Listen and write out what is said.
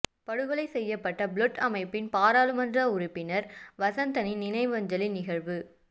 படுகொலை செய்யப்பட்ட புளொட் அமைப்பின் பாராளுமன்ற உறுப்பினர் வசந்தனின் நினைவஞ்சலி நிகழ்வு